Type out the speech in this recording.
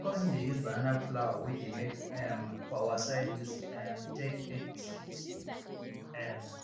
my cousin dey use banana flour wey de make um for our side use um take bake biscuit um